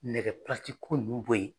Nɛgɛ ko nunnu bɔ ye.